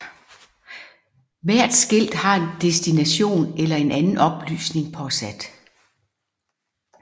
Hvert skilt har en destination eller en anden oplysning påsat